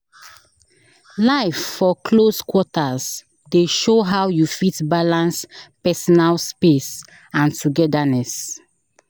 Life for close quarters dey show how you fit balance personal space and togetherness.